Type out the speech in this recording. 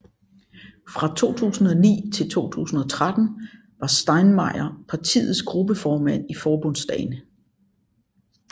Fra 2009 til 2013 var Steinmeier partiets gruppeformand i Forbundsdagen